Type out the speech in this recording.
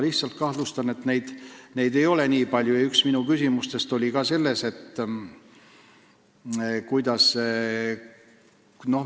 Pigem kahtlustan, et neid ei ole nii palju kui vaja.